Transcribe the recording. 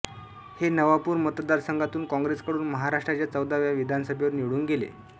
हे नवापूर मतदारसंघातून काँग्रेसकडून महाराष्ट्राच्या चौदाव्या विधानसभेवर निवडून गेले